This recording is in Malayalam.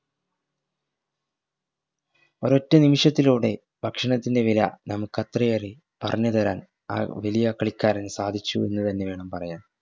ഒരൊറ്റ നിമിഷത്തിലൂടെ ഭക്ഷണത്തിൻറെ വില നമുക് അത്രയേറെ പറഞ്ഞു തരാൻ ആ വെലിയ കളിക്കാരന് സാധിച്ചു എന്ന് തന്നെ വേണം പറയാൻ